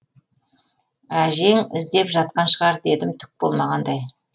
әжең іздеп жатқан шығар дедім түк болмағандай